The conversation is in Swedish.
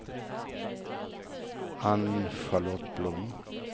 Ann-Charlotte Blom